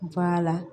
Ba la